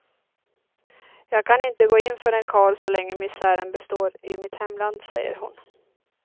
Jag kan inte gå in för en karl så länge misären består i mitt hemland, säger hon.